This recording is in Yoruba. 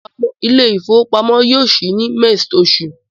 The bank will open mext month